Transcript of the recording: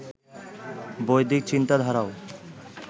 বৈদিক চিন্তাধারারও